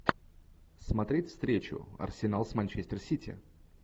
смотреть встречу арсенал с манчестер сити